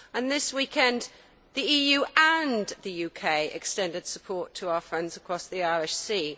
This weekend, the EU and the UK extended support to our friends across the Irish Sea.